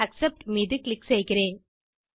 accept மீது click செய்கிறேன்